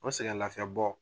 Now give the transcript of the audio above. O sɛgɛnlafiɲɛbɔ